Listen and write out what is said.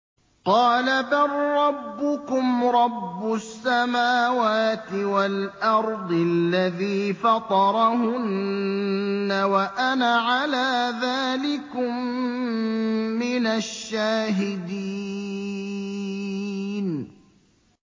قَالَ بَل رَّبُّكُمْ رَبُّ السَّمَاوَاتِ وَالْأَرْضِ الَّذِي فَطَرَهُنَّ وَأَنَا عَلَىٰ ذَٰلِكُم مِّنَ الشَّاهِدِينَ